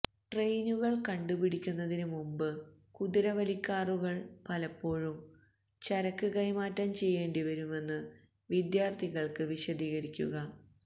ട്രെയിനുകൾ കണ്ടുപിടിക്കുന്നതിനുമുൻപ് കുതിരവലിക്കാറുകൾ പലപ്പോഴും ചരക്ക് കൈമാറ്റം ചെയ്യേണ്ടിവരുമെന്ന് വിദ്യാർത്ഥികൾക്ക് വിശദീകരിക്കുക